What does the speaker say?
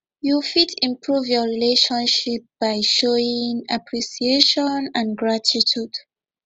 you fit improve your relationship by showing appreciation and gratitude